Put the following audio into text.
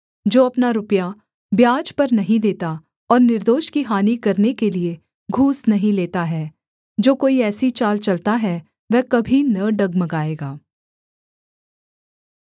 जो अपना रुपया ब्याज पर नहीं देता और निर्दोष की हानि करने के लिये घूस नहीं लेता है जो कोई ऐसी चाल चलता है वह कभी न डगमगाएगा